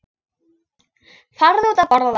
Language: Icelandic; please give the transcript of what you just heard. Farðu út að borða.